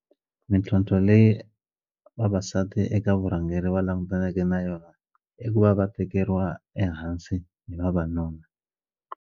Mintlhontlho leyi vavasati eka vurhangeri va langutaneke na yona i ku va va tekeriwa ehansi hi vavanuna.